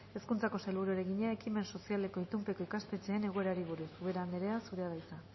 hezkuntzako sailburuari egina ekimen sozialeko itunpeko ikastetxeen egoerari buruz ubera anderea zurea da hitza